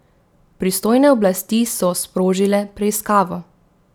Pristojne oblasti so sprožile preiskavo.